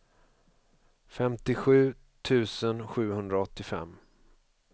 femtiosju tusen sjuhundraåttiofem